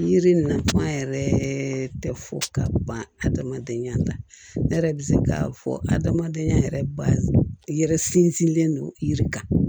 Yiri nafan yɛrɛ tɛ fɔ ka ban adamadenya la ne yɛrɛ bɛ se k'a fɔ adamadenya yɛrɛ ba yɛrɛ sinsinnen don yiri kan